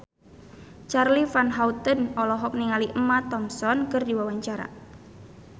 Charly Van Houten olohok ningali Emma Thompson keur diwawancara